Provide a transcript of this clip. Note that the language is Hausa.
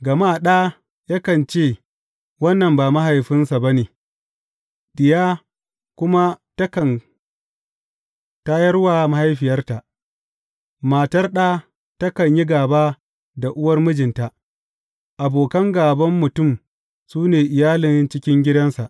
Gama ɗa yakan ce wannan ba mahaifinsa ba ne, diya kuma takan tayar wa mahaifiyarta, matar ɗa takan yi gāba da uwar mijinta, abokan gāban mutum su ne iyalin cikin gidansa.